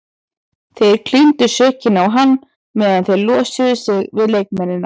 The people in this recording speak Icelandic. Þeir klíndu sökinni á hann meðan þeir losuðu sig við leikmennina.